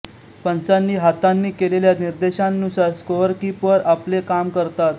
पंचांनी हातांनी केलेल्या निर्देशांनुसार स्कोअरकीपर आपले काम करतात